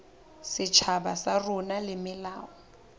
setjhaba sa rona le melao